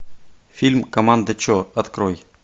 фильм команда че открой